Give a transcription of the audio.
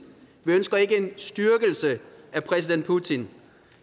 vi ønsker ikke en styrkelse af præsident putin